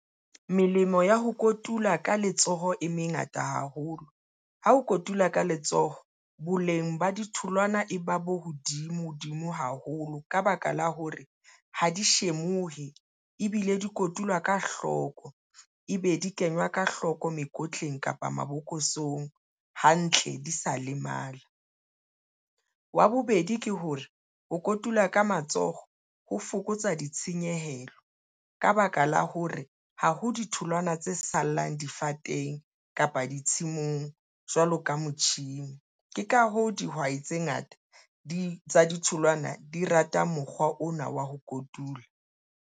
Melemo ya ho kotula ka letsoho e mengata haholo ha o kotula ka letsoho. Boleng ba ditholwana e ba bo hodimo hodimo haholo ka baka la hore ha di shemohe, tlohe ebile di kotulwa ka hloko ebe di kenywa ka hloko mekotleng kapa mabokosong hantle di sa lemala. Wa bobedi, ke hore ho kotula ka matsoho ho fokotsa ditshenyehelo ng ka baka la hore ha ho ditholwana tse sallang difateng kapa ditshimong jwalo ka motjhini, ke ka hoo dihwai tse ngata di tsa ditholwana, di rata mokgwa ona wa ho kotula.